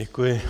Děkuji.